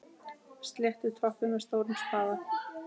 Sléttið toppinn með stórum spaða.